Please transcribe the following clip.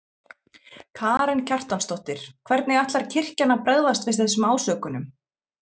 Karen Kjartansdóttir: Hvernig ætlar kirkjan að bregðast við þessum ásökunum?